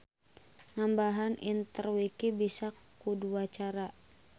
Nambahan interwiki bisa ku dua cara.